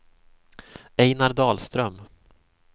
Ejnar Dahlström